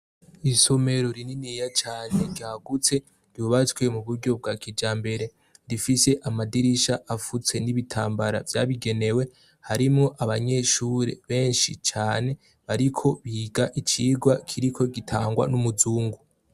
Isomero rininiya cane ryagutse ryubatswe mu buryo bwa kija mbere, rifise amadirisha afutse n'ibitambara byabigenewe, harimo abanyeshuri benshi cane ,bariko biga icigwa kiriko gitangwa n'umuzungu.